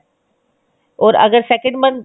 ਓਰ ਅਗਰ second month